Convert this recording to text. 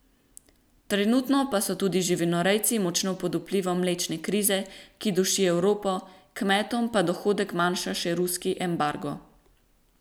Trenutno pa so tudi živinorejci močno pod vplivom mlečne krize, ki duši Evropo, kmetom pa dohodek manjša še ruski embargo.